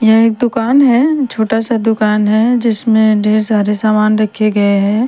यह एक दुकान हैं छोटा सा दुकान हैं जिसमे ढेर सारे सामान रखे गये हैं ।